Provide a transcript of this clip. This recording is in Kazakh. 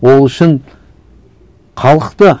ол үшін халық та